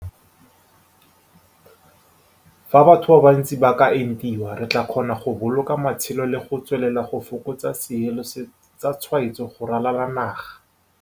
Fa batho ba bantsi ba ka entiwa, re tla kgona go boloka matshelo le go tswelela go fokotsa seelo sa tshwaetso go ralala naga.